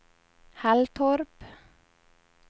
Halltorp